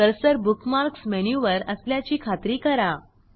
cursor bookmarks मेनूवर असल्याची खात्री करा